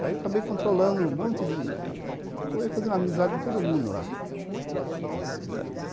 Aí, eu acabei controlando um monte de de... Acabei fazendo amizade com todo mundo lá na cidade